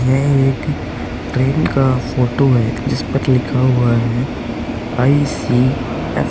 यह एक ट्रेन का फोटो है जिस पर लिखा हुआ है आई.सी.एफ. ।